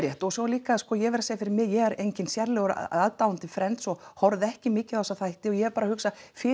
og svo líka ég verð að segja fyrir mig ég er enginn sérlegur aðdáandi Friends og horfði ekki mikið á þessa þætti og ég er bara að hugsa fyrir